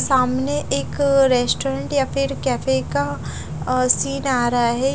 सामने एक रेस्टोरेंट या फिर कैफे का अ सीन आ रहा है।